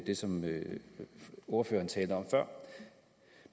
det som ordføreren talte om før